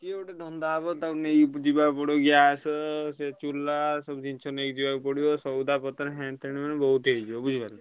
ସିଏ ଗୋଟେ ଧନ୍ଦା ହବ ତାକୁ ନେଇକି ଯିବା କୁ ପଡିବ gas ସେ ଚୁଲା ସବୁ ଜିନିଷ ନେଇକି ଯିବାକୁ ପଡିବ। ସଉଦା ପତ୍ର ଏଣେ ତେଣେ ବହୁତ୍ ହେଇଯିବ ବୁଝିଲ।